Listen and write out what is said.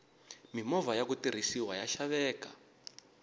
mimovha yaku tirhisiwa ya xaveka